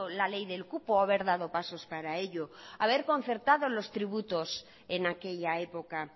la ley del cupo o haber dado pasos para ello haber concertado los tributos en aquella época